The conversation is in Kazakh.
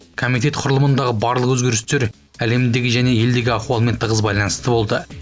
комитет құрылымындағы барлық өзгерістер әлемдегі және елдегі ахуалмен тығыз байланысты болды